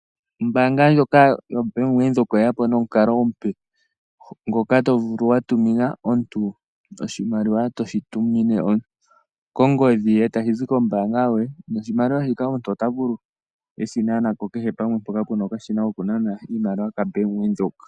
Ombaanga ndjoka yobank Windhoek oye ya po nomukalo omupe, ngoka to vulu watumina omuntu oshimaliwa toshi tumine kongodhi ye ta shizi kombaanga yo ye. Noshimaliwa shika omuntu ota vulu eshinaneko kehe pamwe mpoka puna okashina kokunana iimaliwa kabank Windhoek.